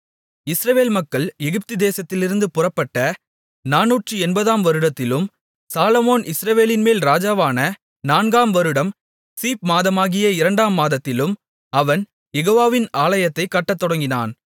இஸ்ரவேல் மக்கள் எகிப்து தேசத்திலிருந்து புறப்பட்ட 480 வருடத்திலும் சாலொமோன் இஸ்ரவேலின்மேல் ராஜாவான நான்காம் வருடம் சீப் மாதமாகிய இரண்டாம் மாதத்திலும் அவன் யெகோவாவின் ஆலயத்தைக் கட்டத்தொடங்கினான்